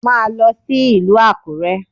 Máa lọ sí ìlú Àkúrẹ́!